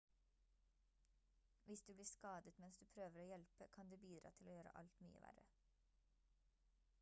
hvis du blir skadet mens du prøver å hjelpe kan det bidra til å gjøre alt mye verre